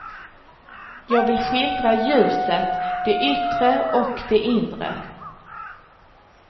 Jag vill skildra ljuset, det yttre och det inre.